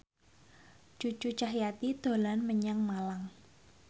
Cucu Cahyati dolan menyang Malang